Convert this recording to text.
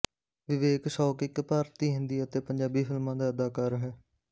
ਵਿਵੇਕ ਸ਼ੌਕ ਇੱਕ ਭਾਰਤੀ ਹਿੰਦੀ ਅਤੇ ਪੰਜਾਬੀ ਫਿਲਮਾਂ ਦਾ ਅਦਾਕਾਰ ਹੈ